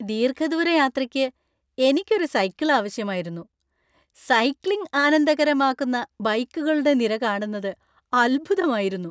ദീർഘദൂര യാത്രയ്ക്ക് എനിക്ക് ഒരു സൈക്കിൾ ആവശ്യമായിരുന്നു, സൈക്ലിംഗ് ആനന്ദകരമാക്കുന്ന ബൈക്കുകളുടെ നിര കാണുന്നത് അത്ഭുതമായിരുന്നു.